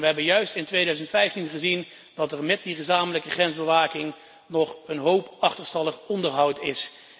We hebben juist in 2015 gezien dat er met die gezamenlijke grensbewaking nog een hoop achterstallig onderhoud is.